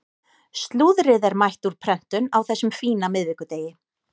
Slúðrið er mætt úr prentun á þessum fína miðvikudegi.